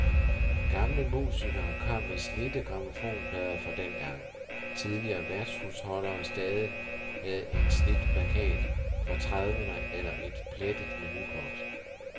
Gamle musikere kom med slidte grammofonplader fra dengang, tidligere værtshusholdere stadig havde en slidt plakat fra trediverne eller et plettet menukort.